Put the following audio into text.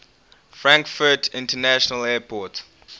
frankfurt international airport